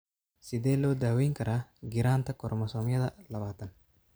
Sidee loo daweyn karaa giraanta koromosoomyada labatan?